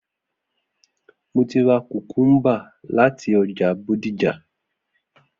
Mo ti ra kukumba lati ọja Bodija.